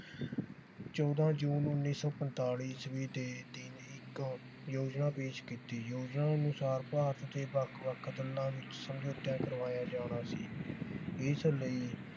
ਚੌਂਦਾ ਜੂਨ ਉੱਨੀ ਸੌ ਪਨਤਾਲੀ ਈਸਵੀ ਦੇ ਦਿਨ ਇਕ ਯੋਜਨਾ ਪੇਸ਼ ਕੀਤੀ। ਯੋਜਨਾ ਅਨੁਸਾਰ ਭਾਰਤ ਤੇ ਵੱਖ ਵੱਖ ਗੱਲਾਂ ਵਿਚ ਸਮਝੋਤਾ ਕਰਵਾਇਆ ਜਾਣਾ ਸੀ। ਇਸ ਲਈ